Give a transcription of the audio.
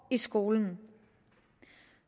i skolen